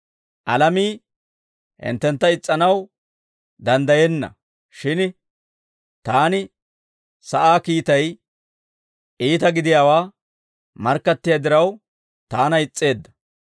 Alamii hinttentta is's'anaw danddayenna; shin taani sa'aa kiittay iita gidiyaawaa markkattiyaa diraw, taana is's'eedda.